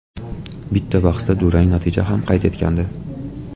Bitta bahsda durang natija ham qayd etgandi.